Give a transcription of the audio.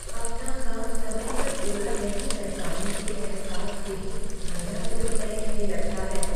अपना काम समय पर पूरा नहीं कर पाने के अहसास से ही मेरा दिल बैठने लगता है।